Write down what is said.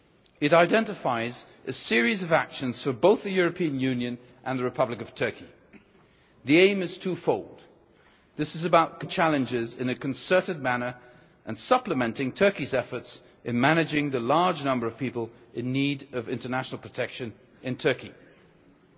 It identifies a series of actions for both the European Union and the Republic of Turkey. The aim is twofold this is about confronting common challenges in a concerted manner and supplementing Turkey's efforts in managing the large number of people in need of international protection in the country.